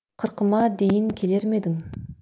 қырқыма дейін келер ме едің